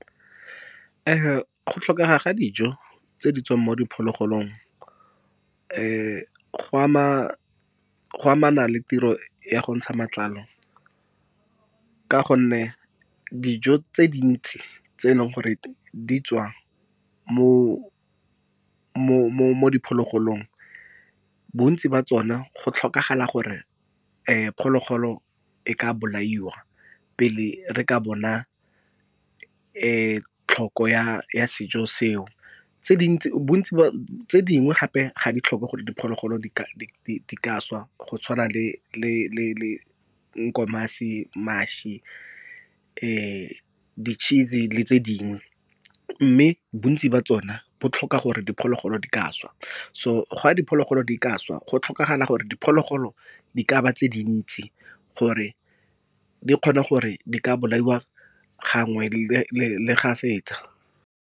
Go tlhokega ga dijo tse di tswang mo diphologolong go amana le tiro ya go ntsha matlalo, ka gonne dijo tse dintsi tse e leng gore di tswa mo diphologolong bontsi jwa tsone go tlhokagala gore phologolo e ka bolaiwa pele re ka bona tlhoko ya sejo seo. Tse dingwe gape ga di tlhoke gore diphologolo di ka swa go tshwana le Nkomasi, mašwi di-cheese le tse dingwe. Mme bontsi jwa tsona bo tlhoka gore diphologolo di ka swa so ga diphologolo di ka swa go tlhokagala gore diphologolo di ka ba tse dintsi gore di kgone gore di ka bolaiwa gangwe le ga fetsa.